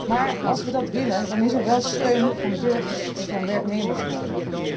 Maar als wij dat willen, dan is er wel steun van burgers en van werknemers nodig.